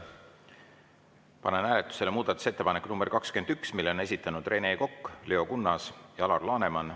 Panen hääletusele muudatusettepaneku nr 21, mille on esitanud Rene Kokk, Leo Kunnas ja Alar Laneman.